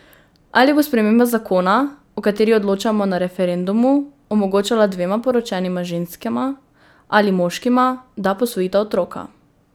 Ali bo sprememba zakona, o kateri odločamo na referendumu, omogočala dvema poročenima ženskama ali moškima, da posvojita otroka?